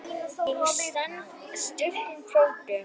Ég stend styrkum fótum.